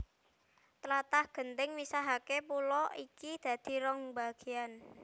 Tlatah genting misahaké pulo iki dadi rong bagéyan